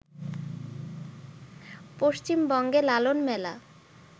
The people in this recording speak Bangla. পশ্চিমবঙ্গে লালনমেলা